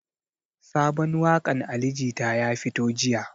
Sabon waƙan ali jita ya fito jiya